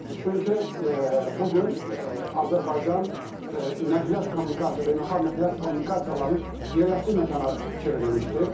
Çünki bu gün Azərbaycan nəqliyyat kommunikasiya, beynəlxalq nəqliyyat kommunikasiyalarının yerləşdiyi məkana çevrilmişdir.